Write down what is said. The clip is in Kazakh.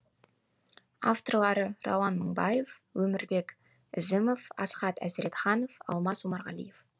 авторлары рауан мыңбаев өмірбек ізімов асхат әзіретханов алмас омарғалиев